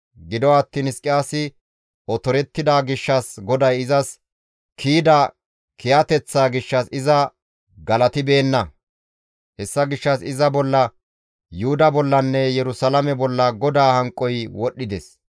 Gido attiin Hizqiyaasi otorettida gishshas GODAY izas kiyida kiyateththaa gishshas iza galatibeenna; hessa gishshas iza bolla, Yuhuda bollanne Yerusalaame bolla GODAA hanqoy wodhdhides.